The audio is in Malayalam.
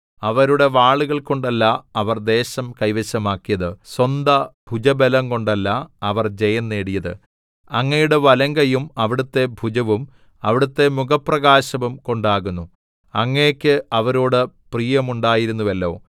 അവരുടെ വാളുകൾ കൊണ്ടല്ല അവർ ദേശം കൈവശമാക്കിയത് സ്വന്ത ഭുജബലം കൊണ്ടല്ല അവർ ജയം നേടിയത് അങ്ങയുടെ വലങ്കൈയും അവിടുത്തെ ഭുജവും അവിടുത്തെ മുഖപ്രകാശവും കൊണ്ടാകുന്നു അങ്ങേക്ക് അവരോട് പ്രിയമുണ്ടായിരുന്നുവല്ലോ